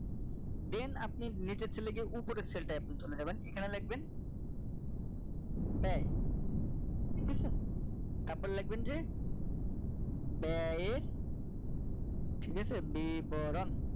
then আপনি নিচের cell গিয়ে উপরের cell টাই আপনি চলে যাবেন এখানে লিখবেন ব্যয় ঠিক আছে তারপর লিখবেন যে ব্যয় এর ঠিক আছে বিবরণ